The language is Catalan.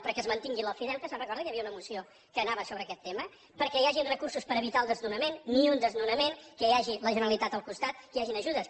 perquè es mantingui l’ofideute se’n recorda que hi havia una moció que anava sobre aquest tema perquè hi hagin recursos per evitar el desnonament ni un desnonament que hi hagi la generalitat al costat que hi hagin ajudes